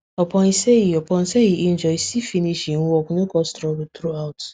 upon say e upon say e injure e still finish hin work no cause trouble throughout